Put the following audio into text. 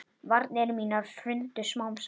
Varnir mínar hrundu smám saman.